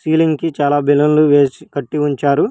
Ceiling కి చాలా బెలూన్లు వేసి కట్టి ఉంచారు.